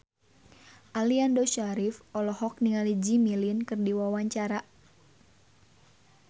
Aliando Syarif olohok ningali Jimmy Lin keur diwawancara